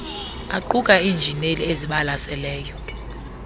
aquka iinjineli ezibalaseleyo